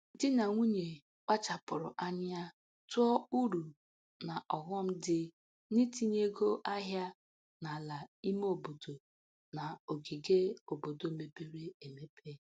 Di na nwunye kpachapụrụ anya tụọ uru na ọghọm dị n'itinye ego ahịa n'ala ime obodo na ogige obodo mepere emepe.